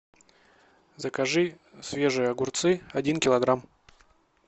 закажи свежие огурцы один килограмм